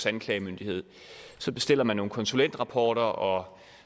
anklagemyndighed så bestiller man nogle konsulentrapporter og